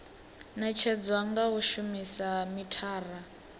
netshedzwa nga u shumisa mithara